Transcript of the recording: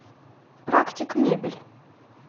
практик мебель